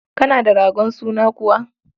Kana da ragon sunan kuwa?